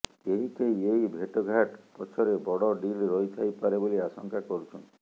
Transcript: କେହି କେହି ଏହି ଭେଟଘାଟ ପଛରେ ବଡ଼ ଡିଲ୍ ରହିଥାଇପାରେ ବୋଲି ଆଶଙ୍କା କରୁଛନ୍ତି